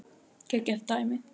Geggjað dæmi.